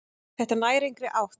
Þetta nær engri átt.